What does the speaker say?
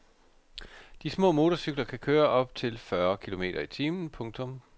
De små motorcykler kan køre op til fyrre kilometer i timen. punktum